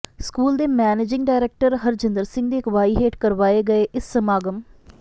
school ਦੇ managing director Harjinder Singh ਦੀ ਅਗਵਾਈ ਹੇਠ ਕਰਵਾਏ ਗਏ ਇਸ ਸਮਾਗਮ